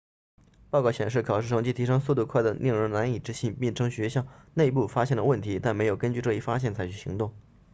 报告显示考试成绩提升速度快得令人难以置信并称学校内部发现了问题但没有根据这一发现采取行动